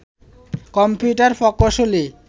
computer প্রকৌশলী